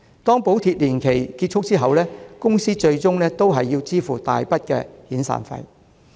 當補貼年期結束後，公司最終也要支付一大筆遣散費。